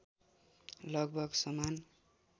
लगभग समान